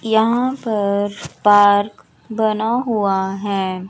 यहां पर पार्क बना हुआ हैं।